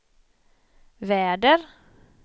väder